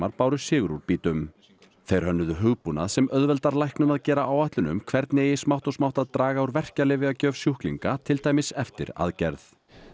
báru sigur úr býtum þeir hönnuðu hugbúnað sem auðveldar læknum að gera áætlun um hvernig eigi smátt og smátt að draga úr sjúklinga til dæmis eftir aðgerð